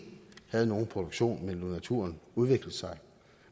har nogen produktion men lod naturen udvikle sig